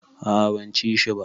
A a ban ci shi ba.